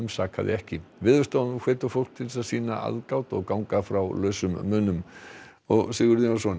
sakaði ekki Veðurstofan hvetur fólk til að sýna aðgát og ganga frá lausum munum Sigurður Jónsson